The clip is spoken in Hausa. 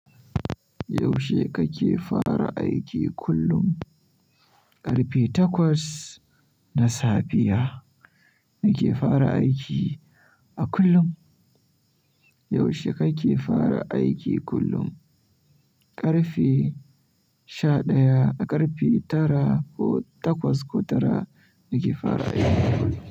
Yaushe kake fara aiki kullum? Karfe takwas na safiya nake fara aiki a kullum. Yaushe kake fara aiki kullum? Ƙarfe sha ɗaya a ƙarfe tara ko takwas ko tara nake fara aiki kullum.